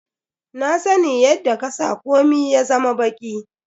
Na sani yadda ka sa komia ya zama baki.